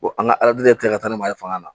an ka yɛrɛ tɛ ka taa ni ma ye fanga na